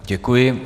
Děkuji.